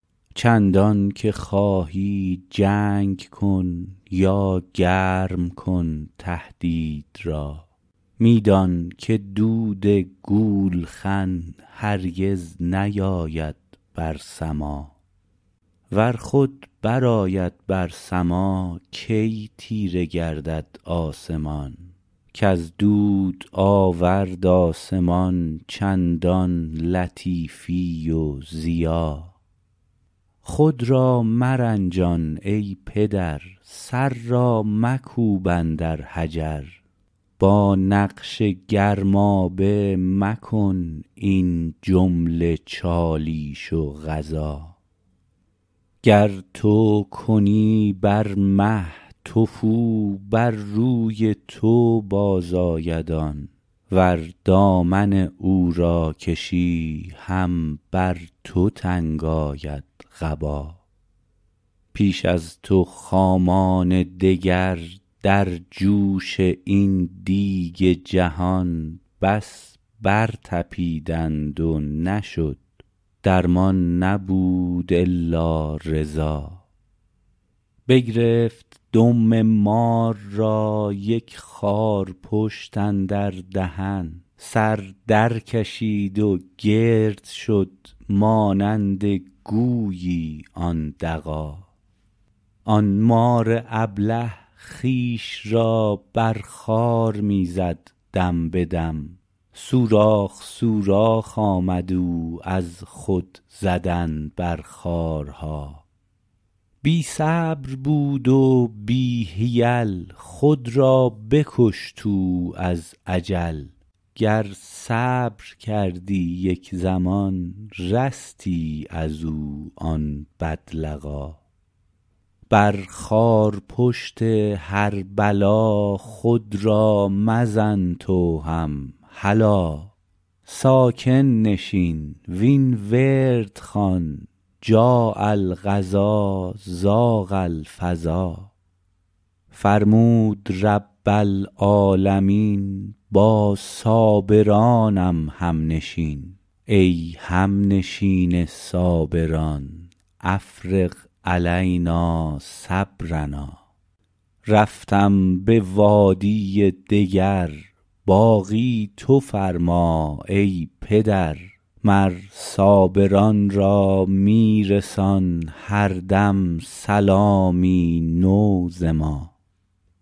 چندانکه خواهی جنگ کن یا گرم کن تهدید را می دان که دود گولخن هرگز نیاید بر سما ور خود برآید بر سما کی تیره گردد آسمان کز دود آورد آسمان چندان لطیفی و ضیا خود را مرنجان ای پدر سر را مکوب اندر حجر با نقش گرمابه مکن این جمله چالیش و غزا گر تو کنی بر مه تفو بر روی تو بازآید آن ور دامن او را کشی هم بر تو تنگ آید قبا پیش از تو خامان دگر در جوش این دیگ جهان بس برطپیدند و نشد درمان نبود الا رضا بگرفت دم مار را یک خارپشت اندر دهن سر درکشید و گرد شد مانند گویی آن دغا آن مار ابله خویش را بر خار می زد دم به دم سوراخ سوراخ آمد او از خود زدن بر خارها بی صبر بود و بی حیل خود را بکشت او از عجل گر صبر کردی یک زمان رستی از او آن بدلقا بر خارپشت هر بلا خود را مزن تو هم هلا ساکن نشین وین ورد خوان جاء القضا ضاق الفضا فرمود رب العالمین با صابرانم همنشین ای همنشین صابران افرغ علینا صبرنا رفتم به وادی دگر باقی تو فرما ای پدر مر صابران را می رسان هر دم سلامی نو ز ما